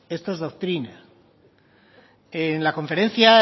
esto es doctrina en la conferencia